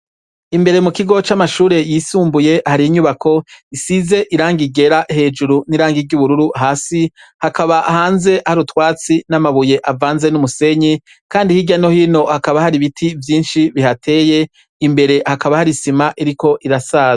Imbere mu kigo c'amashure yisumbuye, hari inyubako isize irangi ryera hejuru n'irangi ry'ubururu hasi, hakaba hanze hari utwatsi n'amabuye avanze n'umusenyi, kandi hirya no hino hakaba hari ibiti vyinshi bihateye, imbere hakaba hari isima iriko irasaza.